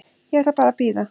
Ég ætla bara að bíða.